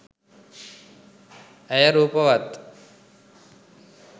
ඇය රූපවත්.